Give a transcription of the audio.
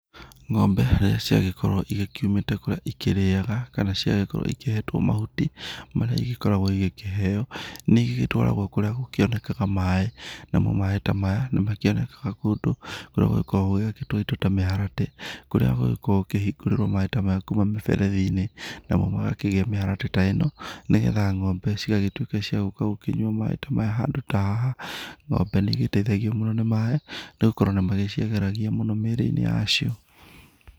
Ng'ombe rĩrĩa ciagĩkorwo igĩkiumĩte kũrĩa cikĩrĩaga kana cigagĩkorwo ikĩhetwo mahuti, marĩa igĩkoragwo igĩkĩheo, nĩ igĩtwaragwo kũrĩa gũkĩonekaga maĩ, namo maĩ ta maya nĩ makĩonekaga kũndũ kũrĩa gũgĩkoragwo gũgĩakĩtwo indo ta mĩharatĩ, kũrĩa gũgĩkoragwo gũkĩhingũrĩrwo maĩ ta maya kuma mĩberethi-inĩ, namo magakĩgĩa mĩharatĩ ta ĩno, nĩgetha Ng'ombe cigagĩtuĩka cia gũka gũkĩnyua maĩ ta maya, handũ ta haha. Ng'ombe nĩ igĩteithagio mũno nĩ maĩ, nĩ gũkorwo nĩ magĩciagĩragia mũno mĩrĩ-inĩ yacio.